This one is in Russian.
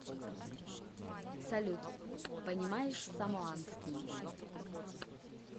салют понимаешь самоанский